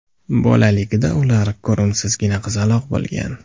Bolaligida ular ko‘rimsizgina qizaloq bo‘lgan.